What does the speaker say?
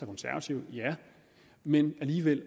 konservative ja men alligevel